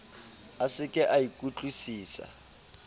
a se ke a ikutlwusisa